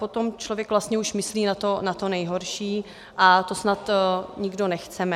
Potom člověk vlastně už myslí na to nejhorší a to snad nikdo nechceme.